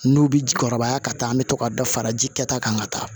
N'u bi jurubaya ka taa an be to ka dɔ fara ji kɛta kan ka taa